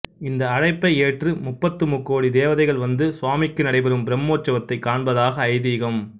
இந்த அழைப்பை ஏற்று முப்பத்து முக்கோடி தேவதைகள் வந்து சுவாமிக்கு நடைபெறும் பிரம்மோற்சவத்தைக் காண்பதாக ஐதீகம்